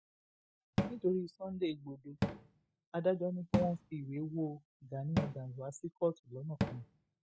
nítorí sunday igbodò adájọ ni kí wọn fi ìwé wo gani adams wá sí kóòtù lọnàkọnà